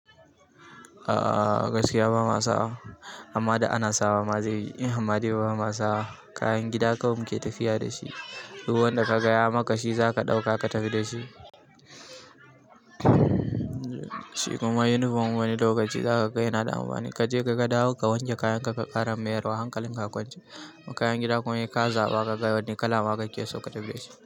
A'a gaskiya ba ma sa, amma da ana sawa ma zai yi, amma dai ba ma sa kayan gida kawai mu ke tafiya da shi. Duk wanda ka gaya maka shi za ka ɗauka ka tafi da shi. Shi kuma uniform wani lokaci za ka ga yana da amfani. Ka je ka ga dawo ka wanke kayan ka, ka ƙara mayarwa hankalin ka a kwance. Kayan gida kuma sai ka zaɓa ka ga da wane kala kake son ka tafi.